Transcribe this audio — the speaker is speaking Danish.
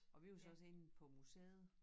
Og vi var så også inde på museet